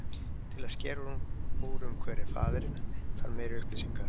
Til að skera úr um hver faðirinn er þarf meiri upplýsingar.